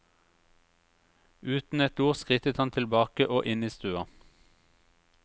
Uten et ord skrittet han tilbake og inn i stua.